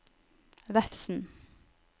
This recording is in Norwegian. Vefsn